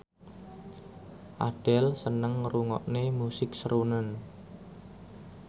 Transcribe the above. Adele seneng ngrungokne musik srunen